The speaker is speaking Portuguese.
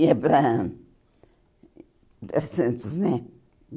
Ia para para Santos, né?